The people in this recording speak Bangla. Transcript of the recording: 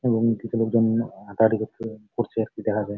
এবং কিছু লোকজন হাটাহাটি করছে করছে আর কি দেখা যায় ।